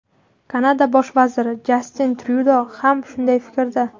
Kanada bosh vaziri Jastin Tryudo ham shunday fikrda .